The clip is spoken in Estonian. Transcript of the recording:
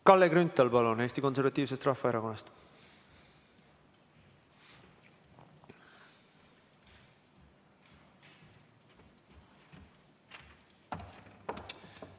Kalle Grünthal, palun, Eesti Konservatiivsest Rahvaerakonnast!